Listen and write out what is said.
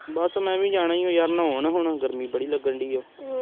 ਬਸ ਮੈਂ ਵੀ ਜਾਣਾ ਏ ਯਾਰ ਨਾਉਣ ਨੂੰ ਗਰਮੀ ਬੜੀ ਲੱਗਣ ਦਈ ਏ।